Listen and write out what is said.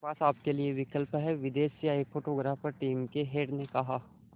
मेरे पास आपके लिए विकल्प है विदेश से आए फोटोग्राफर टीम के हेड ने कहा